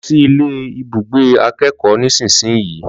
Lọ sí ilé ibùgbé akẹ́kọ̀ọ́ nísinsìnyí